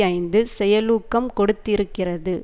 ஐந்து செயலூக்கம் கொடுத்திருக்கிறது